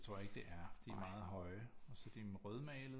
Det tror jeg ikke det er de her meget høje og så er de rødmalede